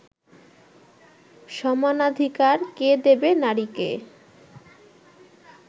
সমানাধিকার কে দেবে নারীকে